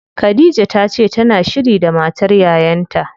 Khadija tace tana shiri da matar yayan ta.